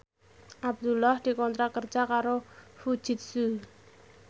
Abdullah dikontrak kerja karo Fujitsu